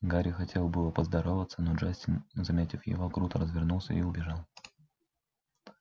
гарри хотел было поздороваться но джастин заметив его круто развернулся и убежал